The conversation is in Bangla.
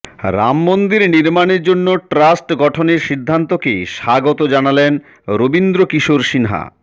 রাম মন্দির নির্মাণের জন্য ট্রাস্ট গঠনের সিদ্ধান্তকে স্বাগত জানালেন রবীন্দ্র কিশোর সিনহা